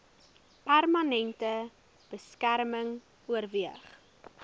permanente beskerming oorweeg